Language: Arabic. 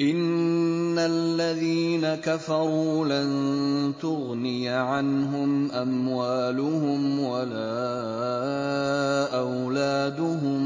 إِنَّ الَّذِينَ كَفَرُوا لَن تُغْنِيَ عَنْهُمْ أَمْوَالُهُمْ وَلَا أَوْلَادُهُم